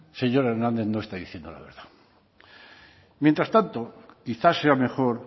señor hernández no está diciendo la verdad mientras tanto quizás sea mejor